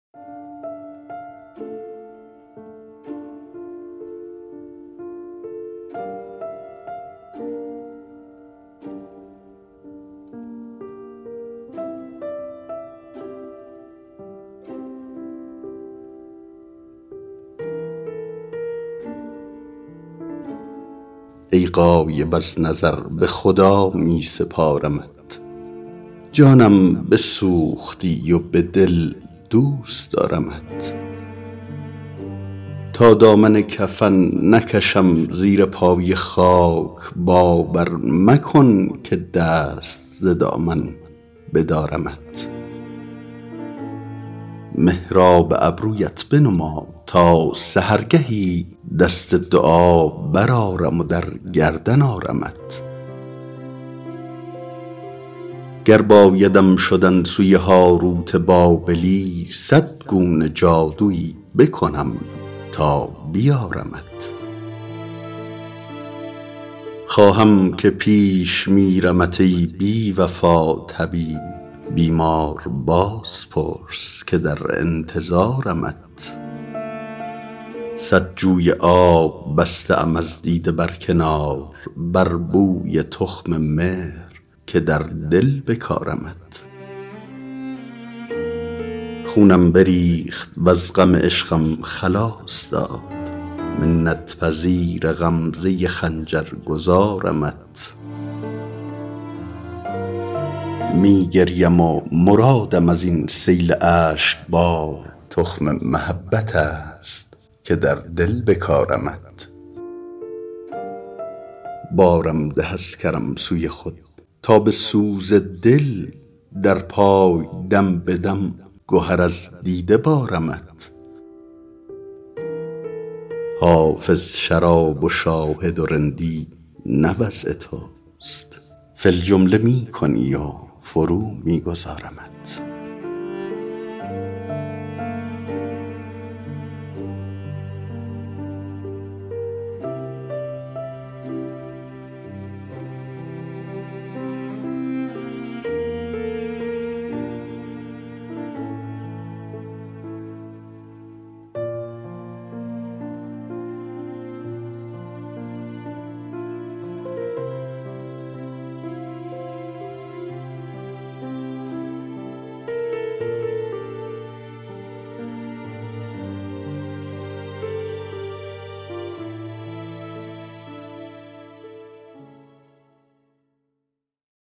ای غایب از نظر به خدا می سپارمت جانم بسوختی و به دل دوست دارمت تا دامن کفن نکشم زیر پای خاک باور مکن که دست ز دامن بدارمت محراب ابرویت بنما تا سحرگهی دست دعا برآرم و در گردن آرمت گر بایدم شدن سوی هاروت بابلی صد گونه جادویی بکنم تا بیارمت خواهم که پیش میرمت ای بی وفا طبیب بیمار باز پرس که در انتظارمت صد جوی آب بسته ام از دیده بر کنار بر بوی تخم مهر که در دل بکارمت خونم بریخت وز غم عشقم خلاص داد منت پذیر غمزه خنجر گذارمت می گریم و مرادم از این سیل اشک بار تخم محبت است که در دل بکارمت بارم ده از کرم سوی خود تا به سوز دل در پای دم به دم گهر از دیده بارمت حافظ شراب و شاهد و رندی نه وضع توست فی الجمله می کنی و فرو می گذارمت